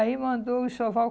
Aí mandou o enxoval